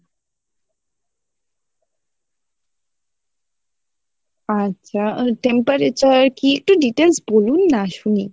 আচ্ছা আর temperature কী একটু details বলুন না শুনি?